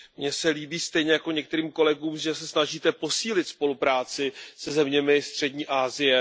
Mně se líbí stejně jako některým kolegům, že se snažíte posílit spolupráci se zeměmi Střední Asie.